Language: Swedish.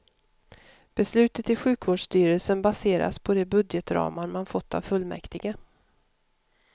Beslutet i sjukvårdsstyrelsen baseras på de budgetramar man fått av fullmäktige.